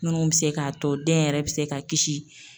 Munnu bi se k'a to den yɛrɛ bi se ka kisi